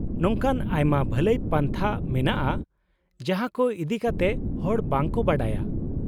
-ᱱᱚᱝᱠᱟᱱ ᱟᱭᱢᱟ ᱵᱷᱟᱹᱞᱟᱹᱭ ᱯᱟᱱᱛᱷᱟ ᱢᱮᱱᱟᱜᱼᱟ ᱡᱟᱦᱟᱸ ᱠᱚ ᱤᱫᱤᱠᱟᱛᱮ ᱦᱚᱲ ᱵᱟᱝ ᱠᱚ ᱵᱟᱰᱟᱭᱼᱟ ᱾